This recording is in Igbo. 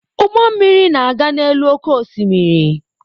Ụgbọ mmiri na-aga n'elu oké osimiri.